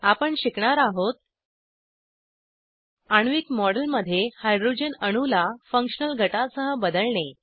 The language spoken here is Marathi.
आपण शिकणार आहोत आण्विक मॉडेल मध्ये हाइड्रोजन अणूला फंक्शनल गटासह बदलणे